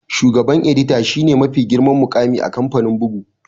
Shugaban edita shi ne mafi girman muƙami a kamfanin bugu